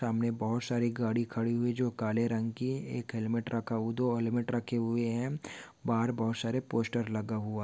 सामने बहूत सारी गाड़ी खड़ी हुई जो काले रंग की एक हेलमेट रखा हु दो हेलमेट रखे हुए है। बाहर बहूत सारा पोस्टर लगा हुआ--